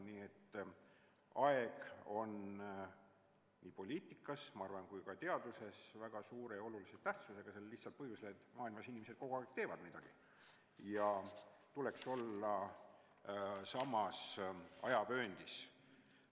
Nii et aeg on nii poliitikas, ma arvan, kui ka teaduses väga suure ja olulise tähtsusega sellel lihtsal põhjusel, et maailmas inimesed kogu aeg teevad midagi ja tuleks olla samas ajavööndis.